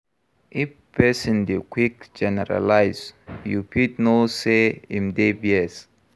If person dey quick generalize, you fit know sey im dey bias